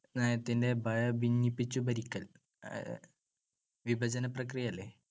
നയത്തിന്‍ടെ ഭിന്നിപ്പിച്ചു ഭരിക്കൽ. വിഭജനപ്രക്രിയയല്ലേ?